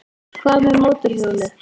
Hvað með mótorhjólið?